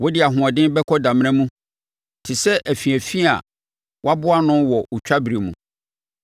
Wode ahoɔden bɛkɔ damena mu, te sɛ afiafi a wɔaboa ano wɔ otwa berɛ mu.